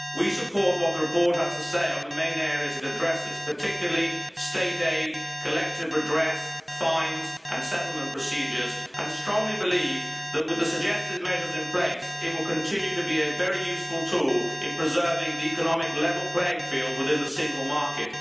We support what the report has to say on the main areas it addresses, particularly state aid, collective redress, fines and settlement procedures, and strongly believe that with the suggested measures in place it will continue to be a very useful tool in preserving the economic level playing field within the single market.